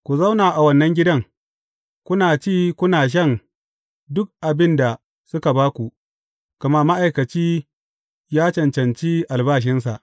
Ku zauna a wannan gidan, kuna ci kuna shan duk abin da suka ba ku, gama ma’aikaci ya cancanci albashinsa.